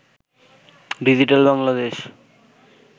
digital Bangladesh